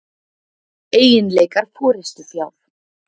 Eiginleikar forystufjár.